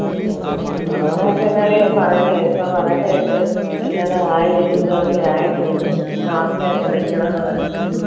ഉം corona ഒക്കെ പറയുന്ന കേൾക്കും പറയുന്ന കേട്ട് എല്ലാട ആയി ഒരു വിധവൊക്കെ ആയിട്ടുണ്ട് mask ഒക്കെ വെക്കണംന്ന് പറയുന്നെന്ന്